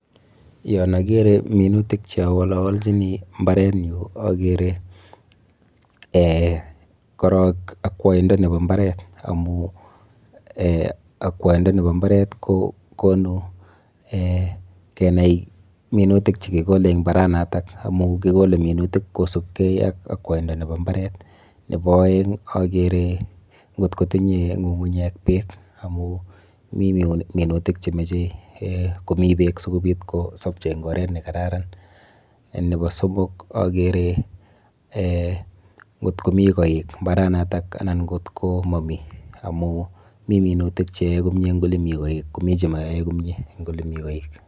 Yon akere minutik cheawolowolchini mbarenyu akere um korok akwoindo nepo mbaret amu um akwoindo nepo mbaret kokonu[um] kenai minutik chekikole eng mbaranoto amu kikole minutik kosubkei ak akwoindo nepo mbaret. Nepo oeng akere nkot kotinye ng'ung'unyek beek amu mi minutik chemeche um komi beek sikobit kosopcho eng oret nekararan. Nepo somok akere um nkot komi koik mbaranoto anan nkot komomi amu mi minutik cheyoe komie eng ole mi koik komi chemayoe komie eng ole mi koik.